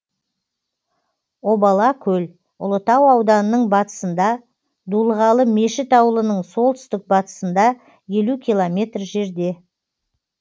обала көл ұлытау ауданының батысында дулығалы мешіт ауылының солтүстік батысында елу километр жерде